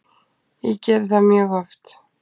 Ég geri það mjög oft.